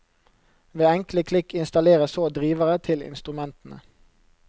Ved enkle klikk installeres så drivere til instrumentene.